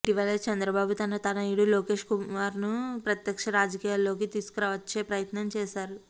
ఇటీవల చంద్రబాబు తన తనయుడు లోకేష్ కుమార్ను ప్రత్యక్ష రాజకీయాల్లోకి తీసుకు వచ్చే ప్రయత్నం చేశారు